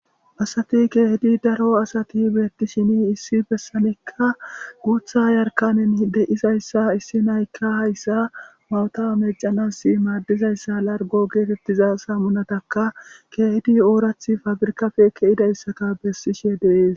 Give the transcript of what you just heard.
Asati kehippe daro asati bettishin issi bessanika guththa yaarkanen deizayssa issi na'ayka hayssa mayota meccanas maadiza larggo gettetiza sammunattaka kehidi oorathi paafirkappe kezidayssa bessishe de'ess.